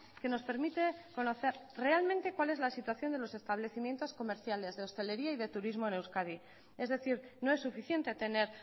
que nos permite conocer realmente cuál es la situación de los establecimientos comerciales de hostelería y de turismo en euskadi es decir no es suficiente tener